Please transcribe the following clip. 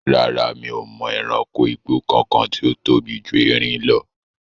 Rárá, mi ò mọ ẹranko igbó kankan tí ó tóbi ju erin lọ